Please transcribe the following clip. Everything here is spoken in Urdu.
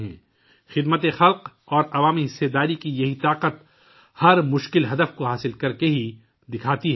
عوامی خدمت اور عوامی شرکت کی یہ طاقت ہر مشکل مقصد کو حاصل کرکے ہی دکھاتی ہے